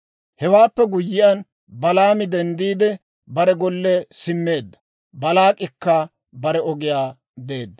Hewaappe guyyiyaan, Balaami denddiide, bare golle simmeedda; Baalaak'ikka bare ogiyaa beedda.